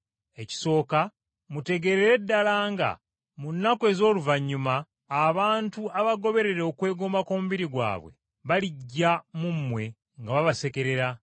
Ekisooka, mutegeerere ddala nga mu nnaku ez’oluvannyuma abantu abagoberera okwegomba kw’omubiri gwabwe balijja mu mmwe nga babasekerera,